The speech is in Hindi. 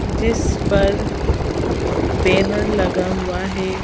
जिस पर बैनर लगा हुआ है।